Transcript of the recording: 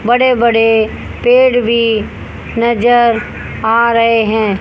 बड़े बड़े पेड़ भी नजर आ रहे है।